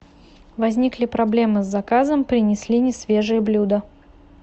возникли проблемы с заказом принесли несвежее блюдо